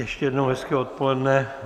Ještě jednou hezké odpoledne.